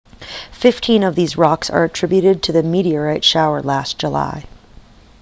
fifteen of these rocks are attributed to the meteorite shower last july